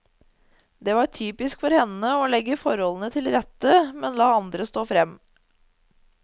Det var typisk for henne å legge forholdene til rette, men la andre stå frem.